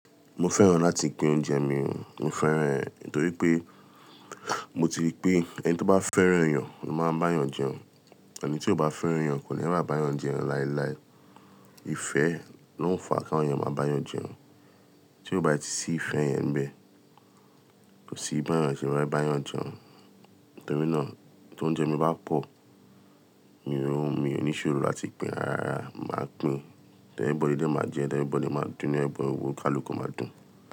Mo fẹ́ràn láti pín oúnjẹ mi, mo fẹ́ran ẹ̀ nítorí pé mo ti rí pé ẹni tó bá fẹ́ràn eyàn máa ń bá yàn jẹun, ẹni tí kò bá fẹ́ràn yàn kò ní rà bá yàn jẹun láéláé. Ìfẹ́ ló ń fa kí àwọn èèyàn máa bá yàn jẹun, tí ó bá ti sí ìfẹ́ yẹn bẹ́ẹ̀, kò sí bá'yàn ṣe fẹ bá yàn jẹun. Nítorí náà tí oúnjẹ mi bá pọ̀, mì o n mi ò ní ṣòro láti pín, rárá, màá pín. Dẹ ẹbọdi dẹ máa jẹ, ẹ dẹ́ ibọ̀ nílé máa dún, ẹ dẹ́ ibọ̀ owó kaluko máa dún.